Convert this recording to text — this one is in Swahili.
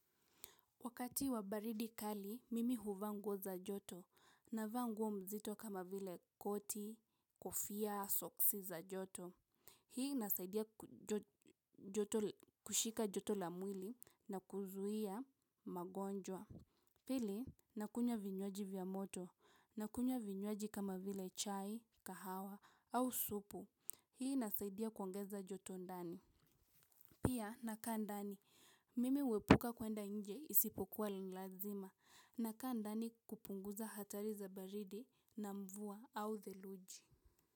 Wakati wa baridi kali, mimi huvaa nguo za joto, navaa nguo mzito kama vile koti, kofia, soksi za joto. Hii inasaidia kushika joto la mwili na kuzuia magonjwa. Pili, nakunywa vinywaji vya moto, nakunywa vinywaji kama vile chai, kahawa au supu. Hii inasaidia kuongeza joto ndani. Pia nakaa ndani. Mimi huepuka kuenda nje isipokuwa ni lazima, nakaa ndani kupunguza hatari za baridi na mvua au theluji.